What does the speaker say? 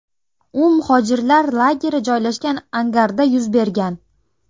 U muhojirlar lageri joylashgan angarda yuz bergan.